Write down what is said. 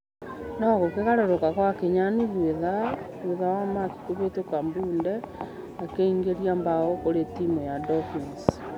No ,gũkĩgarũrũka gwakinya nuthu ithaa thitha wa mark kũhĩtũka mbunde akĩingĩria bao kũrĩ timũ ya dolphins.